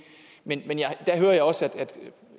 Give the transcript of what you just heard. men der hører jeg også at